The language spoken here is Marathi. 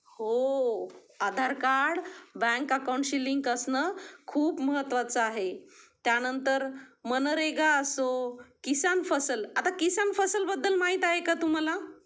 हो आधार कार्ड बँक अकाउंट शी लिंक असणं खूप महत्वाचं आहे त्या नंतर मनरेगा असो किसान फसल आता किसान फसल बद्दल माहित आहे का तुम्हाला?